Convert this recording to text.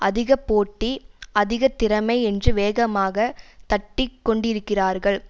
அதிக போட்டி அதிக திறமை என்று வேகமாக தட்டி கொண்டிருக்கிறார்கள்